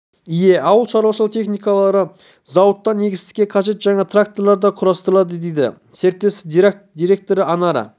ие ауыл шаруашылығы техникалары зауыттан егістікке қажет жаңа тракторлар да құрастырылады дейді серіктестік директоры анара